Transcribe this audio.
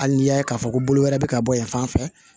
Hali n'i y'a k'a fɔ ko bolo wɛrɛ bɛ ka bɔ yen fan fɛ